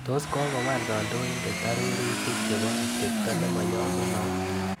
Tos kokowal kandoindet arororutik chebo atepta nemanyalunot?